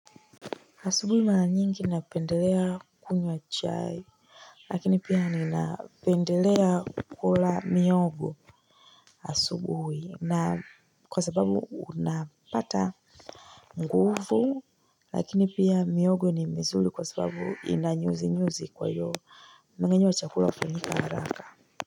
Asubuhi mara nyingi napendelea kunywa chai lakini pia ninapendelea kula mihogo asubuhi na kwa sababu napata nguvu lakini pia mihogo ni mizuri kwa sababu ina nyuzi nyuzi kwa hiyo mmengenyo wa chakula hufanyika haraka.